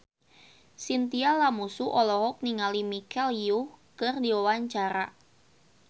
Chintya Lamusu olohok ningali Michelle Yeoh keur diwawancara